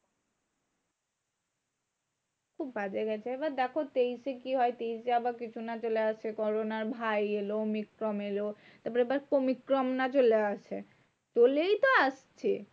খুব বাজে গেছে এবার দেখো তেইশে কি হয়? তেইশে আবার কিছু না চলে আসে corona র ভাই এলো omicron এলো। এবার আবার কমিক্রন না চলে আসে? চলেই তো আসছে।